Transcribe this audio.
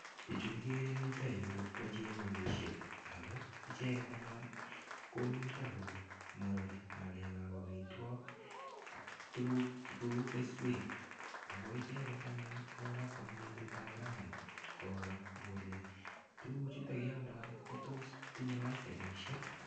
Pichu kikere eng yutoyu ko chemekisiek, ako icheket anyun komito komorori ngalekab amitwok ak tuguk cheu keswek, ako icheket anyun ii ko kabwa eng betutab rani koro kole tukuchuto kialdoi ko tos tinye laisenisiek.